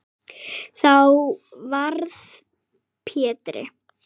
Þá varð Pétri